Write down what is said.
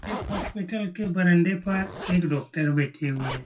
इस हॉस्पिटल के बरंडे पर एक डॉक्टर बैठे हुए हैं।